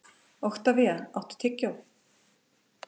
Oktavía, áttu tyggjó?